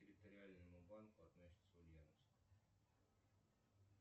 территориальному банку относится ульяновск